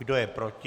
Kdo je proti?